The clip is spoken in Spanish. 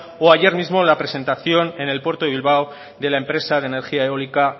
o ayer mismo la presentación en el puerto de bilbao de la empresa de energía eólica